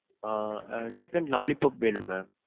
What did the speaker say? ஆஹ் அஹ் chicken lollipop வேணும் ma'am.